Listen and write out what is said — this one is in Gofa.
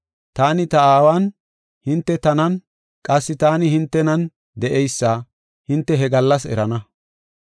Taani ta Aawan, hinte tanan, qassi taani hintenan de7eysa hinte he gallas erana.